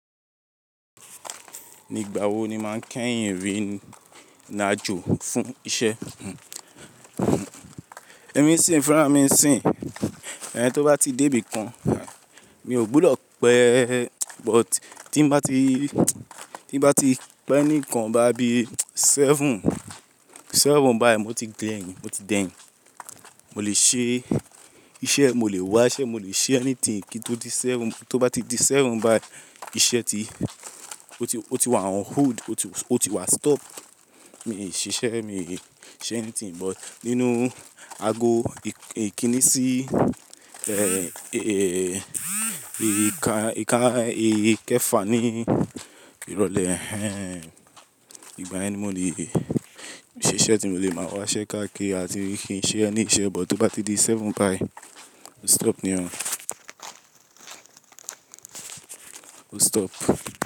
Nígbà wo ni màá kẹ́yìn rí ìlàjọ fún iṣẹ́? Ẹ̀mí sin, fẹ́ràn mí nsinyi, ẹni tó bá ti dé ibìkan, mi ò gbúdọ̀ pẹ́, but tí n bá ti, tí n bá ti pẹ́ nìkan báyo bí seven, seven bayi mo ti dẹ̀yìn, mo ti dẹ́yìn. Mo lè ṣe iṣẹ́, mo lè wa iṣẹ́, mo lè ṣe anything kí n tó di seven. Tó bá ti di seven bayi, iṣẹ́ ti, ó ti, ó ti wà on hold, ó ti wà stop. Mi n ṣiṣẹ̀, mi n ṣe anything but nínú àgò ìkíni sí, ìka, ìka, ìkẹfà ní ìrọ̀lẹ́. Ìgbà yẹn ni mo lè ṣiṣẹ́ tí mo lè máa wáṣẹ́ ká kíri a ti kí n ṣe ẹni iṣẹ́, but tó bá ti di seven bayi, mo stop niyen. Ó stop.